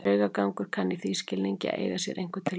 Draugagangur kann í þeim skilningi að eiga sér einhvern tilgang.